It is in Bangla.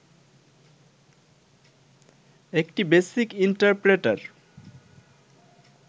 একটি বেসিক ইন্টারপ্রেটার